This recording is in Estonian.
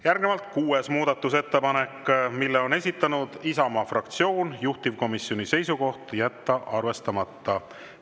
Järgnevalt kuues muudatusettepanek, mille on esitanud Isamaa fraktsioon, juhtivkomisjoni seisukoht: jätta arvestamata.